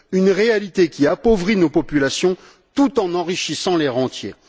Une réalité qui appauvrit nos populations tout en enrichissant les rentiers.